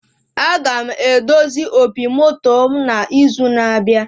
Aga m edozi opi moto mụ na izu na abịa